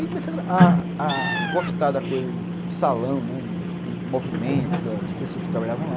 Comecei a a agostar do salão, né, do movimento, das pessoas que trabalhavam lá.